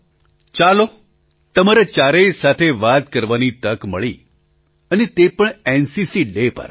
પ્રધાનમંત્રી ચાલો તમારા ચારેય સાથે વાત કરવાની તક મળી અને તે પણ એનસીસીડે પર